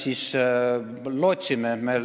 Mida me lootsime?